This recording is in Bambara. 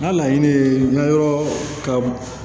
N ka laɲini ye n ka yɔrɔ ka